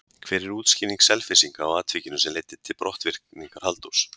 Hver er útskýring Selfyssinga á atvikinu sem leiddi til brottvikningar Halldórs?